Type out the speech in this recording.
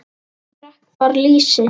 Ég drekk bara lýsi!